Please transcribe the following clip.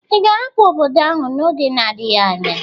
Ị ga-ahapụ obodo ahụ n'oge na-adịghị anya?